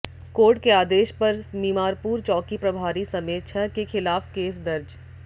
court के आदेश पर मिमारपुर चौकी प्रभारी समेत छह के खिलाफ केस दर्ज